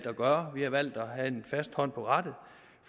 at gøre vi har valgt at have en fast hånd på rattet